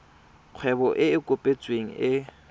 kgwebo e e kopetsweng e